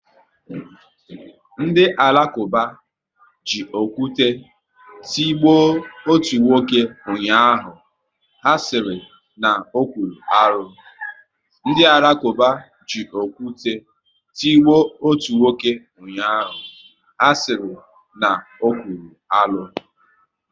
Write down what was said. Ndị Alakuba ji okwu te tigbo ọtu nwoke ụnyaahụ, ha sịrị na ọ̀kwụ́rụ́ arụ